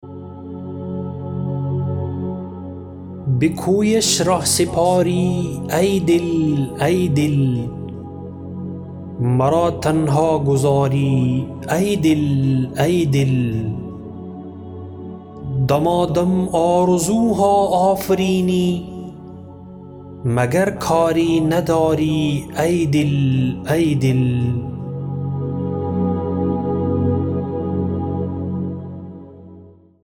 به کویش رهسپاری ای دل ای دل مرا تنها گذاری ای دل ای دل دمادم آرزوها آفرینی مگر کاری نداری ای دل ای دل